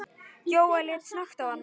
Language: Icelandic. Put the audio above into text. Jóel leit snöggt á hana.